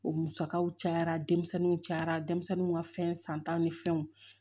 O musakaw cayara denmisɛnninw cayara denmisɛnninw ka fɛn san ta ni fɛnw